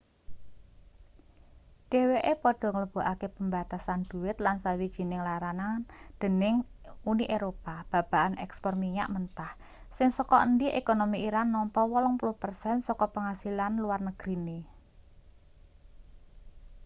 dheweke padha nglebokake pembatasan dhuwit lan sawijining larangan dening uni eropa babagan ekspor minyak mentah sing saka endi ekonomi iran nampa 80% saka penghasilan luar negrine